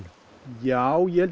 já ég held